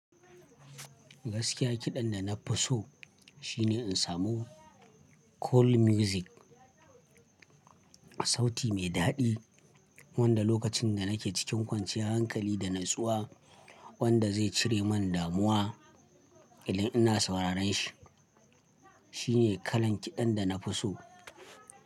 Gaskiya kiɗan da na fi so shine in samu cool music, sauti mai daɗi wanda lokacin da nake cikin kwanciya hankali da natsuwa wanda zai cire man damuwa idan ina sauraron shi. Shi ne kalan kiɗan da na fi so.